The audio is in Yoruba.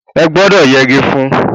Ẹ gbọ́dọ̀ yẹgi fún-ún!